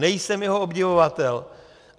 Nejsem jeho obdivovatel.